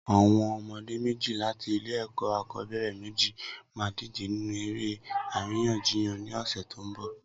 Awọn ọmọdé méji làtí ilé ẹkọ akọbẹrẹ méji mà dijé ninú éré àrínyànjíyàn ni ọsẹ tó n bọ